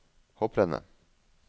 hopprennet